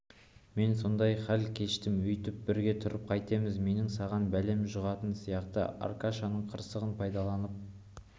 мен сондай хал кештім өйтіп бірге тұрып қайтеміз менің саған бәлем жұғатын сияқты аркашаның қырсығын пайдаланып